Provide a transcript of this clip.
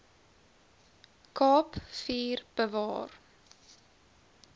kaap vier bewaar